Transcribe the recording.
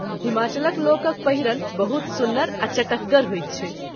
हिमाचलक लोकक पहिरन बहुत सुन्नर आ चटकगर होइत छै।